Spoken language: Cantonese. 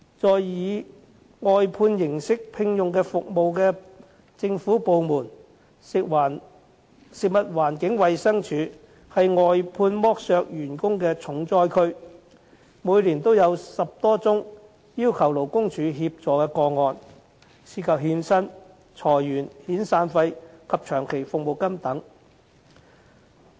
在以外判形式聘用服務的政府部門中，食物環境衞生署是外判剝削員工的重災區，每年都有10多宗要求勞工處協助的個案，涉及欠薪、裁員、遣散費及長期服務金等。